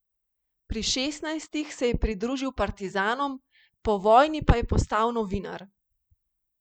Pri šestnajstih se je pridružil partizanom, po vojni pa je postal novinar.